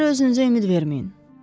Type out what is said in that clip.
Boş yerə özünüzə ümid verməyin.